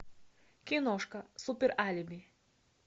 киношка супер алиби